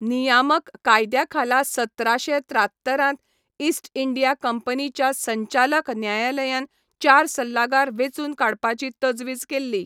नियामक कायद्या खाला सतराशें त्रात्तरांत इस्ट इंडिया कंपनीच्या संचालक न्यायालयान चार सल्लागार वेचून काडपाची तजवीज केल्ली